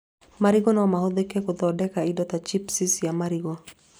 Marigũ no mahũthĩke gũthondeka indo ta cibuci cia marigũ